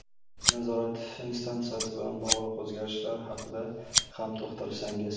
Nazorat instansiyasi bilan bog‘liq o‘zgarishlar haqida ham to‘xtalsangiz.